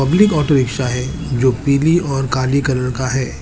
Public auto rickshaw है जो पीली और काली कलर का है।